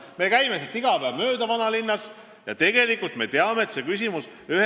Me käime vanalinnas sealt iga päev mööda ja me teame, et see küsimus on lahendamata.